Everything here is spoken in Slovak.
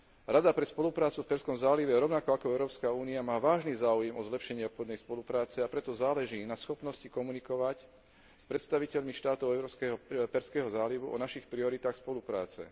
Rada pre spoluprácu v Perzskom zálive, rovnako ako Európska únia, má vážny záujem o zlepšenie obchodnej spolupráce, a preto záleží na schopnosti komunikovať s predstaviteľmi štátov Perzského zálivu o našich prioritách spolupráce.